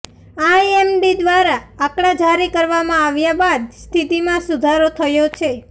IMD દ્વારા આંકડા જારી કરવામાં આવ્યા બાદ સ્થતિમાં સુધારો થયો છે